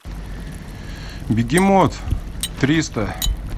бегемот триста